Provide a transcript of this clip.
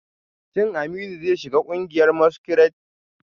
Shin Aminu zai shiga kungiyar masquerade?